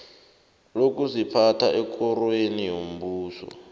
lokuziphatha ekorweni yombuso